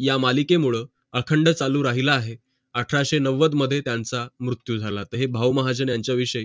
या मालिकेमुळ अखंड टाळू राहिला आहे अठराशे नव्वद मध्ये त्यांचं मृत्यू झालं तर हे भाऊ महाजन बद्दल